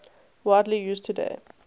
widely used today